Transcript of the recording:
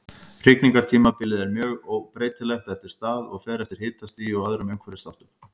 Hrygningartímabilið er mjög breytilegt eftir stað og fer eftir hitastigi og öðrum umhverfisþáttum.